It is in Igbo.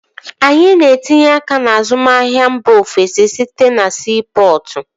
Anyị na-etinye aka n'azụmahia mba ofesi site na siipọtụ